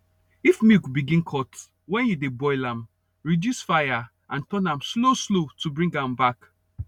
if milk begin cut when you dey boil am reduce fire and turn am slow slow to bring am back